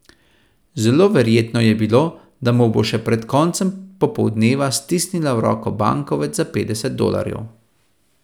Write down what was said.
Zelo verjetno je bilo, da mu bo še pred koncem popoldneva stisnila v roko bankovec za petdeset dolarjev.